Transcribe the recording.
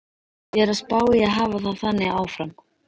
Ég er að spá í að hafa það þannig áfram.